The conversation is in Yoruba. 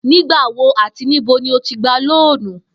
Nígbà wo àti níbo ni o ti gba lóònù?